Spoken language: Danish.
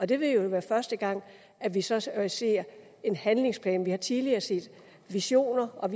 det vil jo være første gang vi så ser ser en handlingsplan vi har tidligere set visioner og